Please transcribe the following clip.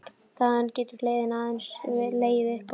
Þaðan getur leiðin aðeins legið upp á við.